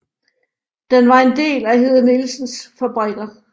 Den var en del af Hede Nielsens Fabrikker